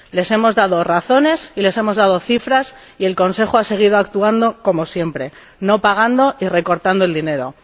Les hemos dado razones y les hemos dado cifras y el Consejo ha seguido actuando como siempre no pagando y recortando el dinero.